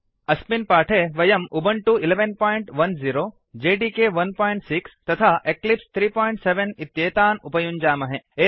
अस्मिन् पाठे वयम् उबुण्टु 1110 जेडिके 16 तथा एक्लिप्स् 37 इत्येतान् उपयुञ्जामहे